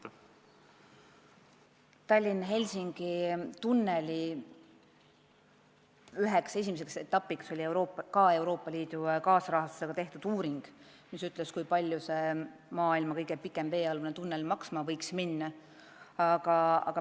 Üks Tallinna–Helsingi tunneli esimesi etappe oli Euroopa Liidu kaasrahastusega tehtud uuring, mille eesmärk oli prognoosida, kui palju see maailma kõige pikem veealune tunnel maksma võiks minna.